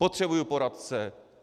Potřebuji poradce.